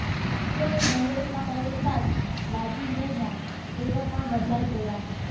જોકે કોંગ્રેસમાં પ્રવેશતાં જ લાલજી મેરના તેવર પણ બદલાઈ ગયા